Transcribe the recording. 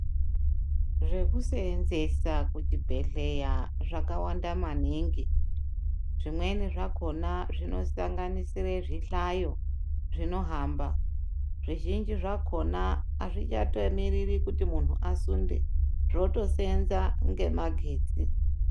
Zvekuseenzesa kuchibhedhlera zvakawanda maningi zvimweni zvakona zvinosanganisira zvihlayo zvinohamba, zvizhinji zvakhona azvichatomiriri kuti muntu asunde zvotoseenza ngemagetsi.